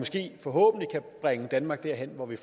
forhåbentlig kan bringe danmark derhen hvor vi